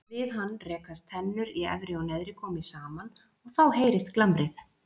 Við hann rekast tennur í efri og neðri gómi saman og þá heyrist glamrið.